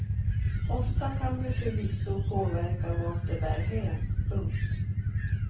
Ofta kan vi förvisso påverka vart det bär hän. punkt